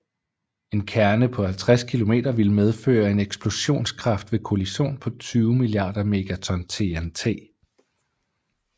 En kerne på 50 km ville medføre en eksplosionskraft ved kollision på 20 milliarder megaton TNT